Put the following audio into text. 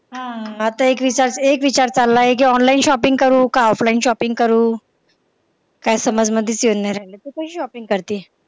हा आता एक विचार एक विचार चालला आहे कि online shopping करू का offline shopping करू काय समझ मध्ये नाय येऊ राहिलय तू कशी shopping करते